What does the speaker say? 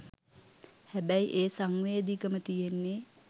හැබැයි ඒ සංවේදිකම තියෙන්නේ